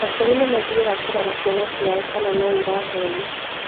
Aciari nĩmathiaga kũrora ciana ciao kana noirathoma